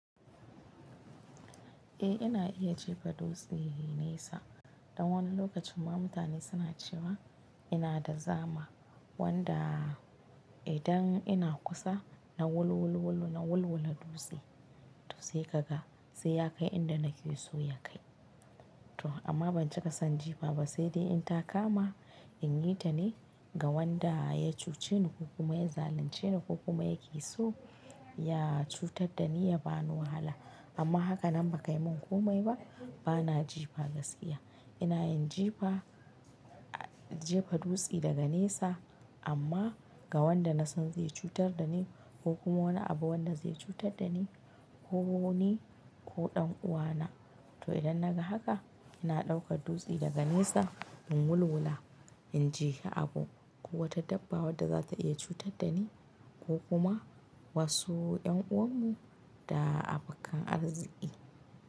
Eh ina iya jefa dutse nesa, dan wani lokacin ma mutane suna cewa ina da zama wanda idan ina kusa na wulwul wulu na wulwula dutse to sai kaga sai ya kai inda nake so ya kai. To amma ban cika son jifa ba sai dai in ta kama in yi ta ne ga wanda ya cuce ni ko kuma ya zalunce ni ko kuma yake so ya cutar da ni ya bani wahala amma hakanan ba kai min komai ba bana jifa gaskiya. Ina yin jefa, jefa dutse daga nesa amma ga wanda na san zai cutar da ni ko kuma wani abu wanda zai cutar da ni ko ni ko ɗan uwana. To idan na ga haka ina ɗaukar dutse daga nesa in wulwula in jehi abu ko wata dabba wadda za ta iya cutar da ni ko kuma wasu yan uwarmu da abakan arziki.